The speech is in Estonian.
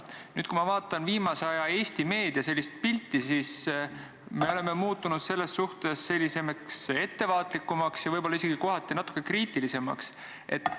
Nüüd, kui ma vaatan viimase aja Eesti meedias kujutatud pilti, siis me oleme selles suhtes muutunud ettevaatlikumaks ja võib-olla isegi kohati natuke kriitilisemaks.